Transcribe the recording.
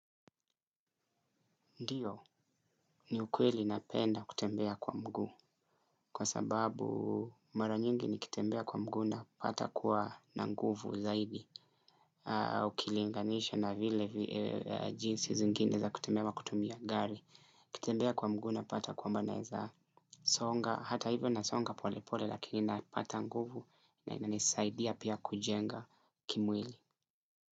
Ndiyo ni ukweli napenda kutembea kwa mgu kwa sababu mara nyingi nikitembea kwa mgu napata kuwa na nguvu zaidi au ukilinganisha na vile jinsi zingine za kutembea kutumia gari ukitembea kwa mgu napata kuwamba naeza songa hata hivyo na songa pole pole lakini napata nguvu na inanisaidia pia kujenga kimwili.